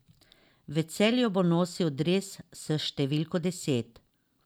V Celju bo nosil dres s številko deset.